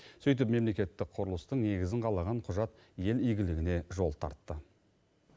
сөйтіп мемлекеттік құрылыстың негізін қалаған құжат ел игілігіне жол тартты